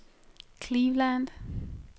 Cleveland